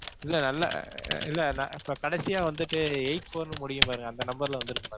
இல்ல நல்ல~ அஹ் இல்ல நான் இப்ப கடைசியா வந்துட்டு eight four னு முடியும் பாருங்க அந்த number ல வந்துருக்கும் பாருங்க.